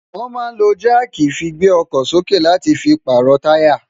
wọ́n máa ń lo jáàkì fi gbé ọkọ̀ sókè láti fi pààrọ̀ táyà.